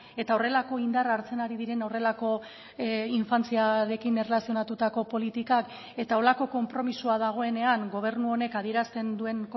eta horrelako indarra hartzen ari diren horrelako infantziarekin erlazionatutako politikak eta horrelako konpromisoa dagoenean gobernu honek adierazten duen